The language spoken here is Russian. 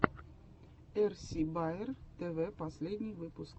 эрси баер тв последний выпуск